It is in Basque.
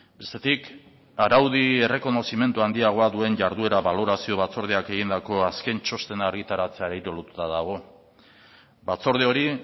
bestetik araudi errekonozimendu handiagoa duen jarduera balorazio batzordeak egindako azken txostena argitaratzeari lotuta dago batzorde hori